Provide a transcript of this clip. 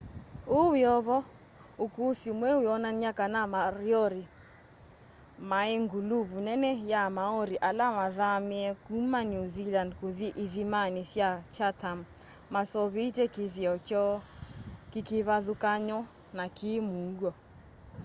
uu wiovo ukusi mweu wionany'a kana moriori mai nguluvu nene ya maori ala mathamie kuma new zealand kuthi ithimani sya chatham maseuvitye kithio kyoo kikivathukany'o na ki muuo